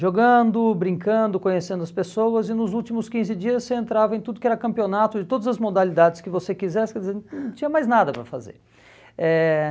jogando, brincando, conhecendo as pessoas, e nos últimos quinze dias você entrava em tudo que era campeonato, de todas as modalidades que você quisesse, quer dizer, não tinha mais nada para fazer. Eh